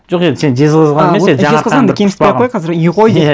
жоқ енді сен жезқазған емес енді жаңаарқаның